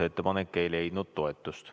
Ettepanek ei leidnud toetust.